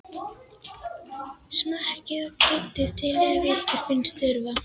Smakkið og kryddið til ef ykkur finnst þurfa.